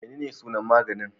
Menene sunan maganin?